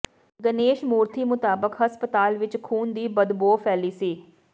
ਗਨੇਸ਼ਮੂਰਥੀ ਮੁਤਾਬਕ ਹਸਪਤਾਲ ਵਿੱਚ ਖੂਨ ਦੀ ਬਦਬੋ ਫੈਲੀ ਸੀ